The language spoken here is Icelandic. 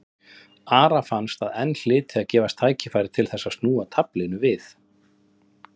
Ara fannst að enn hlyti að gefast tækifæri til þess að snúa taflinu við.